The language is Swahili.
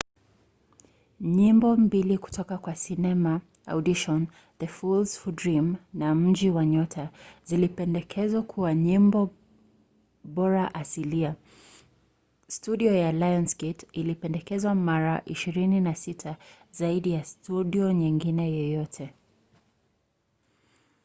nyimbo mbili kutoka kwa sinema audition the fools who dream na mji wa nyota zilipendekezwa kuwa nyimbo bora asilia. studio ya lionsgate ilipendekezwa mara 26 – zaidi ya studio nyingine yoyote